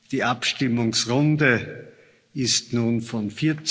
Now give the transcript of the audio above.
Die Abstimmungsrunde ist nun von